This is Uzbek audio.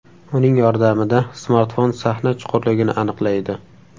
Uning yordamida smartfon sahna chuqurligini aniqlaydi.